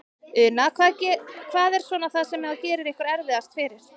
Una: Hvað er svona það sem að gerir ykkur erfiðast fyrir?